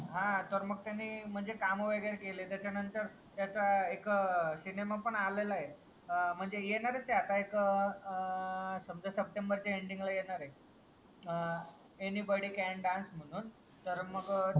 आ तर मग त्यांनी म्हणजे काम वगैरे केलेत त्याचा नंतर त्याचाच एक सिनेमा पण आलेला ए म्हणजे येणारच ए आता एक एक आ समजा सप्टेंबर चा एंडिंग ला येणार ए आ अँनिबडी कॅन डान्स म्हणून तर मग